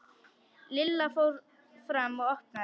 Lilla fór fram og opnaði.